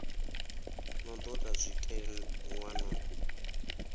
no do ta zwitenwa na